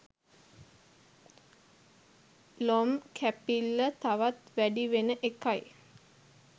ලොම් කැපිල්ල තවත් වැඩි වෙන එකයි.